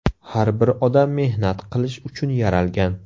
Har bir odam mehnat qilish uchun yaralgan.